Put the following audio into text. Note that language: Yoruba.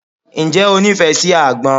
Ǹjẹ́ o nífẹ̀ẹ́ sí àgbọn?